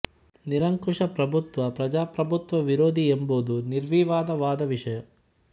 ನಿರಂಕುಶ ಪ್ರಭುತ್ವ ಪ್ರಜಾಪ್ರಭುತ್ವ ವಿರೋಧಿ ಎಂಬುದು ನಿರ್ವಿವಾದ ವಾದ ವಿಷಯ